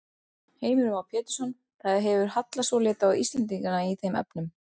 Söguna um Nóa, flóðið og örkina er að finna í fyrstu Mósebók Gamla testamentisins.